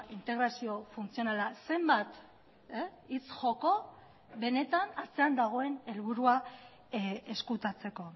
integrazio funtzionala zenbat hitz joko benetan atzean dagoen helburua ezkutatzeko